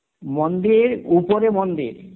মন্দির, উপরে মন্দির